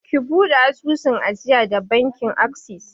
Ki buɗe asusun ajiya da bankin akses!